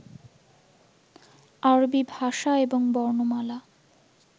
আরবী ভাষা এবং বর্ণমালা